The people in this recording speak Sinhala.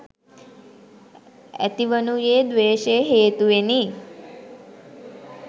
ඇතිවනුයේ ද්වේශය හේතුවෙනි.